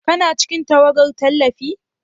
Kana cikin tawagar tallafi?